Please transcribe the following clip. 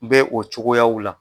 N bɛ o cogoyaw la.